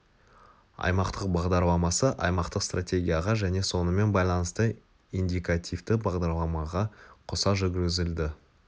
аймақтық бағдарламасы аймақтық стратегияға және сонымен байланысты индикативті бағдарламаға қоса жүргізілді